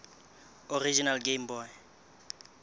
original game boy